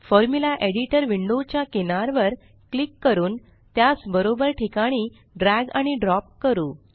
formula Editorविंडो च्या किनार वर क्लिक करून त्यास बरोबर ठिकाणी ड्रॅग आणि ड्रॉप करू